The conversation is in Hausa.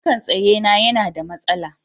fankan tsaye na yana da masala